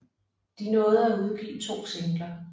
De nåede at udgive to singler